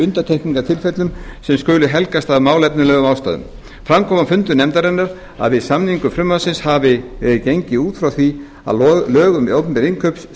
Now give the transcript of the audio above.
undantekningartilfellum sem skulu helgast af málefnalegum ástæðum fram kom á fundum nefndarinnar að við samningu frumvarpsins hafi verið gengið út frá því að lög um opinber innkaup